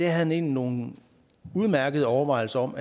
han egentlig nogle udmærkede overvejelser om